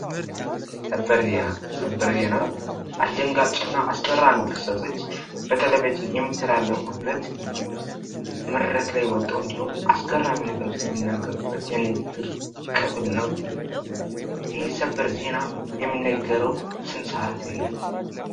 ሰበር ዜና ሰበር ዜና አስደንጋጭ እና አስገራሚ ክስተቶች በቴሌቭዥን የሚተላለፉበት መድረክ ላይ ወጦ እንዲሁ አስገራሚ ነገሮችን የምናገሩበት የንግግር ክፍል ነው:: ይህ ሰበር ዜና የሚነገረው ስንት ሰዓት ላይ ነው?